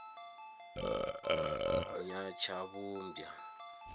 nyatshavhumbwa